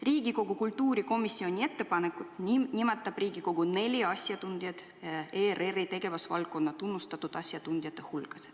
Riigikogu kultuurikomisjoni ettepanekul nimetab Riigikogu neli asjatundjat ERR-i tegevusvaldkonna tunnustatud asjatundjate hulgast.